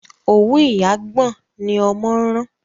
òwú ìyá gbọ̀n ní ọmọ ran.